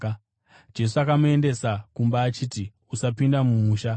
Jesu akamuendesa kumba achiti, “Usapinda mumusha.”